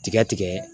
Tigɛ tigɛ